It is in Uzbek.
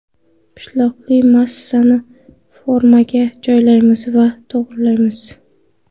Pishloqli massani formaga joylaymiz va to‘g‘rilaymiz.